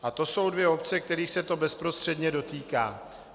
A to jsou dvě obce, kterých se to bezprostředně dotýká.